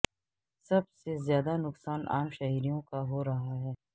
سب سے زیادہ نقصان عام شہریوں کا ہو رہا ہے